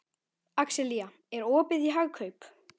Axelía, er opið í Hagkaup?